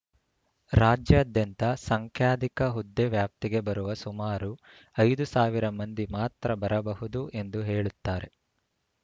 ರಾಜ್ಯಾದ್ಯಂತ ಸಂಖ್ಯಾಧಿಕ ಹುದ್ದೆ ವ್ಯಾಪ್ತಿಗೆ ಬರುವ ಸುಮಾರು ಐದು ಸಾವಿರ ಮಂದಿ ಮಾತ್ರ ಬರಬಹುದು ಎಂದು ಹೇಳುತ್ತಾರೆ